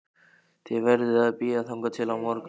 Þið verðið að bíða þangað til á morgun